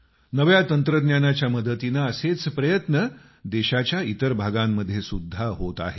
नव्या तंत्रज्ञानाच्या मदतीनं असेच प्रयत्न देशाच्या इतर भागांमध्ये सुद्धा होत आहेत